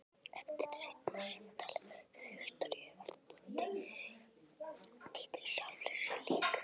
Eftir seinna símtalið við Viktoríu varð Dídí sjálfri sér lík.